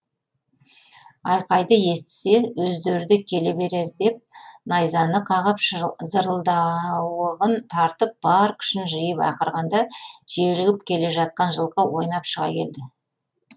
айқайды естісе өздері де келе берер деп найзаны қағып зырылдауығын тартып бар күшін жиып ақырғанда желігіп келе жатқан жылқы ойнап шыға берді